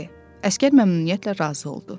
Əsgər məmnuniyyətlə razı oldu.